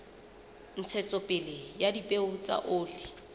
ntshetsopele ya dipeo tsa oli